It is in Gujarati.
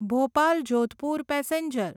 ભોપાલ જોધપુર પેસેન્જર